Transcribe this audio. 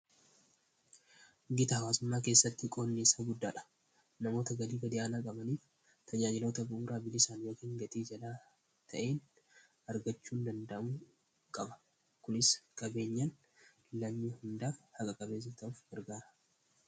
Giddu-galeessa amanamummaa keessatti qoodni isaa guddaadha; namoonni galii gad-aanaa qaban tajaajilota bu’uuraa bilisaan yookiin gatii gad-aanaan argachuu danda’uu qabu. Kunis qabeenyi biyyaa hundaaf haqa-qabeessa akka ta’uuf ni gargaara.